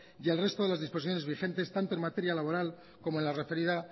y el resto de las disposiciones vigentes tanto en materia laboral como en la referida